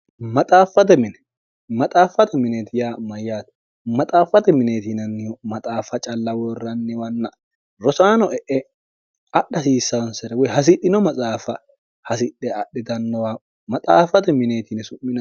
xmaxaaffate mineeti yaa mayyaato maxaaffate mineetiinannihu maxaafa calla woorranniwanna rosaano e'e adha hasiissaansere woy hasidhino maxaafa hasidhe adhitannowa maxaafate mineetiine su'mio